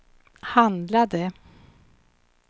handlade